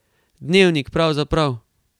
Dnevnik pravzaprav.